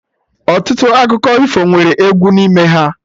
Ọtụtụ akụkọ ifo nwere egwu n'ime ha